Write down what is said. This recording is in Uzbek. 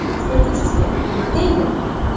Statistika nima deydi?.